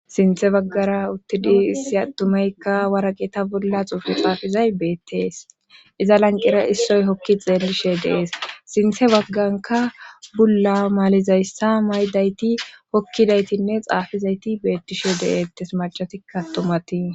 Sinthe baggara uttidi issi attumeykka waraqe ta bulla xuufu xaafizay beettees iza lanqera issoy hokki xeellishe dees sinthe bagganka bulla maalizayssa maydayti hokkidaytinne xaafizayti beettishe deettes macatikka tumatii.